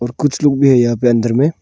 कुछ लोग भी है यहां पे अंदर में।